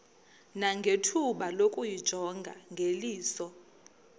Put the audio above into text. nangethuba lokuyijonga ngeliso